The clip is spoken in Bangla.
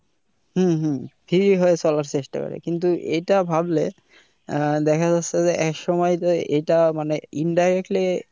হম হম free হয়ে চলার চেষ্টা করে কিন্তু এটা ভাবলে আহ দেখা যাচ্ছে যে একসময় যে এইটা মানে indirectly